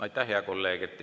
Aitäh, hea kolleeg!